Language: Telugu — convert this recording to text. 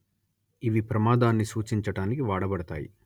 ఇవి ప్రమాదాన్ని సూచించటానికి వాడబడతాయి